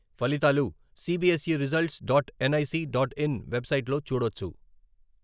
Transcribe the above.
ఫలితాలు CBSE results dot NIC dot in వెబ్సైట్లో చూడొచ్చు.